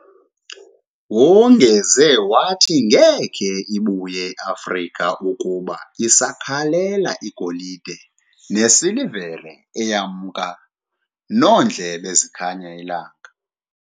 Wongeze wathi ngeke ibuye I Afrika ukuba sisakhalela igolide ne silivere eyamnka noondlebe zikhanya ilanga